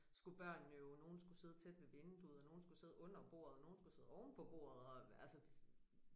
Skulle børnene jo nogen skulle sidde tæt ved vinduet og nogen skulle sidde under bordet nogen skulle sidde ovenpå bordet og altså